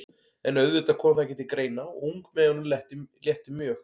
En auðvitað kom það ekki til greina og ungmeyjunum létti mjög.